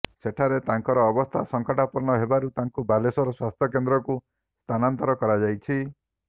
ସେଠାରେ ତାଙ୍କର ଅବସ୍ଥା ସଙ୍କଟାପନ୍ନ ହେବାରୁ ତାଙ୍କୁ ବାଲେଶ୍ୱର ସ୍ୱାସ୍ଥ୍ୟ କେନ୍ଦ୍ରକୁ ସ୍ଥାନାନ୍ତର କରାଯାଇଛି